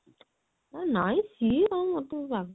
ଅ ନାଇଁ ସିଏ ଆଉ ମୋତେ